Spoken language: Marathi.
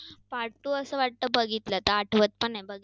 part two असं वाटतं बघितला, तर आता आठवत पण नाही.